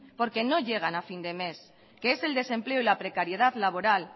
porque no llegan a fin de mes que es el desempleo y la precariedad laboral